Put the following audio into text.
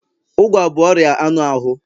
Ụgwa bụ ọrịa anụ ahụ